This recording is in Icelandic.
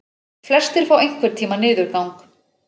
Flestir fá einhvern tíma niðurgang.